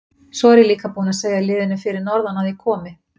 Svo er ég líka búinn að segja liðinu fyrir norðan að ég komi.